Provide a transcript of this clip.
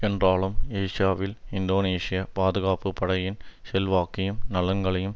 என்றாலும் ஏஷாவில் இந்தோனேஷிய பாதுகாப்பு படையின் செல்வாக்கையும் நலன்களையும்